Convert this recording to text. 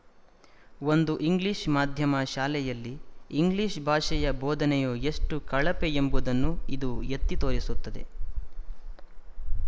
ಒಂದು ಇಂಗ್ಲಿಶ ಮಾಧ್ಯಮ ಶಾಲೆಯಲ್ಲಿ ಇಂಗ್ಲಿಶ ಭಾಷೆಯ ಬೋಧನೆಯು ಎಷ್ಟು ಕಳಪೆ ಎಂಬುದನ್ನು ಇದು ಎತ್ತಿ ತೋರಿಸುತ್ತದೆ